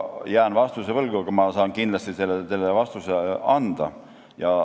Ma jään vastuse võlgu, aga ma saan kindlasti selle vastuse teile anda.